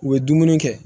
U ye dumuni kɛ